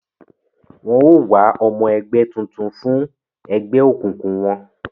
Wọn o wá ọmọ ẹgbẹ tuntun fún egbeokunkun wọn